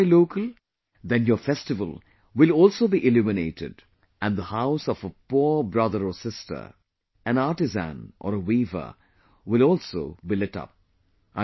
If you buy local, then your festival will also be illuminated and the house of a poor brother or sister, an artisan, or a weaver will also be lit up